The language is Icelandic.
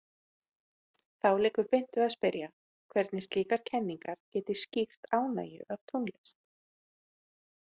Þá liggur beint við að spyrja, hvernig slíkar kenningar geti skýrt ánægju af tónlist.